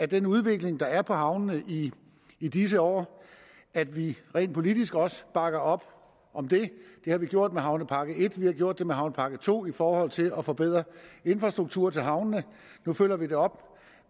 den udvikling der er på havnene i i disse år at vi rent politisk også bakker op om det det har vi gjort med havnepakke en vi har gjort det med havnepakke to i forhold til at forbedre infrastrukturen til havnene nu følger vi det op